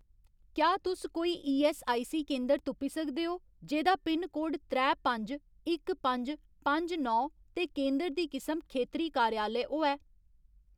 क्या तुस कोई ईऐस्सआईसी केंदर तुप्पी सकदे ओ जेह्‌दा पिनकोड त्रै पंज इक पंज पंज नौ ते केंदर दी किसम खेतरी कार्यालय होऐ ?